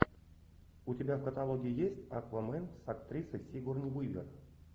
у тебя в каталоге есть аквамен с актрисой сигурни уивер